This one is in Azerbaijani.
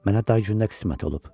Mənə dar gündə qismət olub.